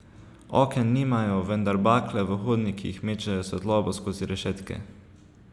Oken nimajo, vendar bakle v hodnikih mečejo svetlobo skozi rešetke.